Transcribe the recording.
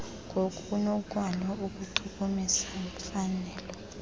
ngokunokwalo aluchukumisi mfanelo